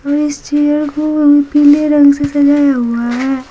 मैं इस चेयर को पीले रंग से सजाया हुआ है।